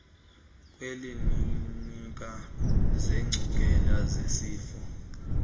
kwiiklinikhi zeengcungela zesifo